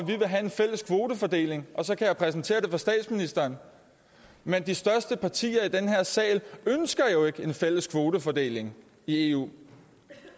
have en fælles kvotefordeling og så kan jeg præsentere den for statsministeren men de største partier i den her sal ønsker ikke en fælles kvotefordeling i eu og